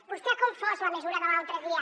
vostè ha confós la mesura de l’altre dia